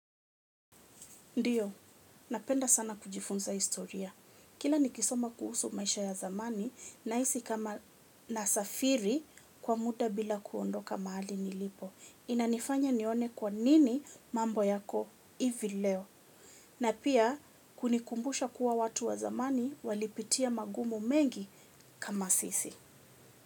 Ndiyo, napenda sana kujifunza historia. Kila nikisoma kuhusu maisha ya zamani nahisi kama nasafiri kwa muda bila kuondoka mahali nilipo. Inanifanya nione kwa nini mambo yako hivi leo. Na pia kunikumbusha kuwa watu wa zamani walipitia magumu mengi kama sisi.